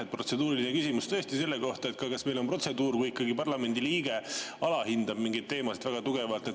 Mul on protseduuriline küsimus selle kohta, kas meil on protseduur, kui ikkagi parlamendiliige alahindab mingeid teemasid väga tugevalt.